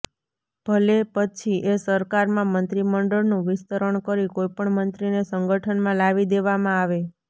ભલે પછી એ સરકારમાં મંત્રી મંડળનું વિસ્તરણ કરી કોઇપણ મંત્રીને સંગઠનમાં લાવી દેવામાં આવે